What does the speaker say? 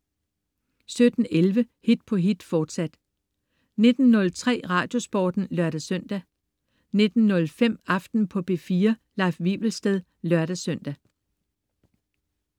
17.11 Hit på hit, fortsat 19.03 Radiosporten (lør-søn) 19.05 Aften på P4. Leif Wivelsted (lør-søn)